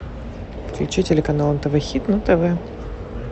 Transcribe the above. включи телеканал нтв хит на тв